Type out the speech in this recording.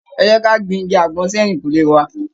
Ẹ jẹ́ ka gbin igi àgbọn sí ẹ̀yìnkùlé wa.